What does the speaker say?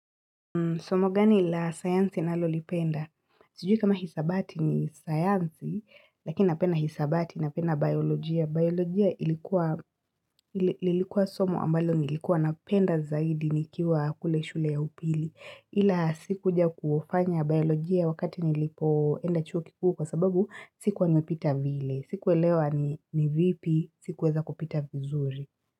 Somo gani ila sayansi nalolipenda? Sijui kama hisabati ni sayansi, lakini napenda hisabati na penda biolojia. Biolojia ilikuwa somo ambalo nilikuwa napenda zaidi nikiwa kule shule ya upili. Ila sikuja kuofanya biolojia wakati nilipo enda chuo kikuu kwa sababu sikuwa nyepita vile. Sikuwelewa ni vipi, sikuweza kupita vizuri.